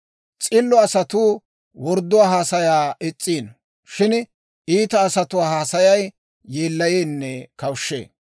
S'illo asatuu wordduwaa haasayaa is's'iino. Shin iita asatuwaa haasayay yeellayeenne kawushshee.